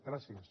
gràcies